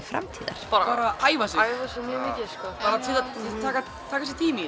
framtíðar bara æfa sig bara taka sér tíma í